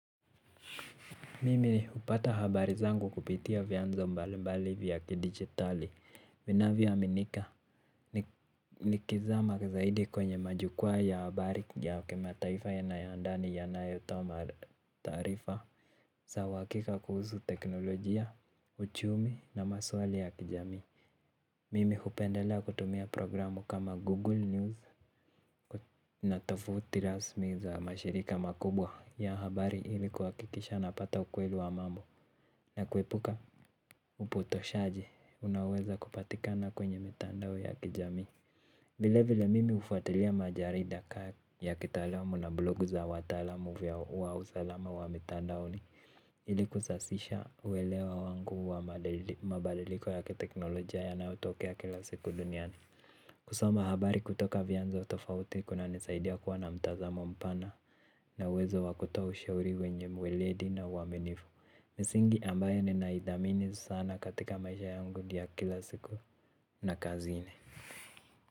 Mimi hupata habari zangu kupitia vyanzo mbalimbali vya kidijitali vinavyoaminika. Nikizama zaidi kwenye majukwaa ya habari ya kimataifa na ya ndani yanayotoa taarifa za uhakika kuhusu teknolojia, uchumi na maswali ya kijamii. Mimi hupendelea kutumia programu kama Google News na tafuti rasmi za mashirika makubwa ya habari ili kuhakikisha napata ukweli wa mambo. Na kuepuka upotoshaji unaoweza kupatikana kwenye mitandao ya kijamii. Vilevile mimi hufuatilia majarida kaa ya kitaalamu na blogu za wataalamu wa usalama wa mitandaoni, ili kusasisha uelewa wangu wa mabaliliko ya kiteknolojia yanayotokea kila siku duniani. Kusoma habari kutoka vyanzo tofauti kunanisaidia kuwa na mtazamo mpana na uwezo wa kutoa ushauri wenye mweledi na uaminifu. Misingi ambayo ninaithamini sana katika maisha yangu ndiyo ya kila siku na kazini.